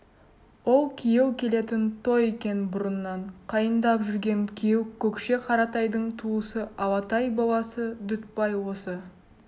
ол күйеу келетін той екен бұрыннан қайындап жүрген күйеу көкше қаратайдың туысы алатай баласы дүтбай осы